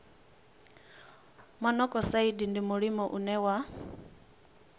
monokosaidi ndi mulimo une wa